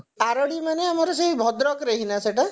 ଆରଡି ମାନେ ଆମର ସେଇ ଭଦ୍ରକରେ ହି ନା ସେଇଟା ନା